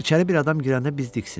İçəri bir adam girəndə biz diksindik.